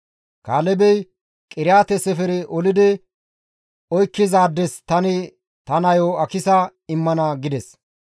Kaalebey, «Qiriyaate-Sefere olidi oykkizaades tani ta nayo Akisa immana» gides.